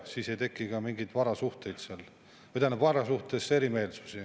Siis ei teki ka mingeid erimeelsusi varasuhetes.